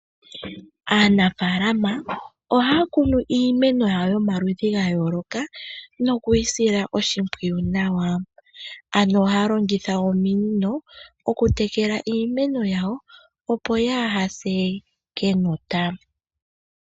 Aanafaalama ohaya kunu iimeno yawo yomaludhi ga yooloka noku yi sila oshimpwiyu nawa. Ano ohaya longitha ominino oku tekela iimeno yawo opo kaayise kenota.